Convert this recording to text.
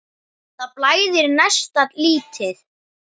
Það blæðir næsta lítið.